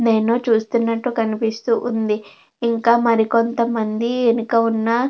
చూస్తునట్టు కనిపిస్తూ ఉంది ఇంకా మరికొంతమంది వెనుక ఉన్న --